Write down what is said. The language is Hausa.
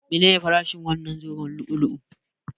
Menene farashin wannan zoben lu'u-lu'u?